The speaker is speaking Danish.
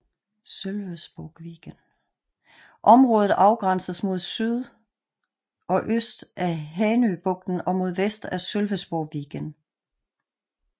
Området afgrænses mod syd og øst af Hanöbukten og mod vest af Sölvesborgsviken